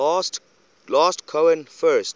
last cohen first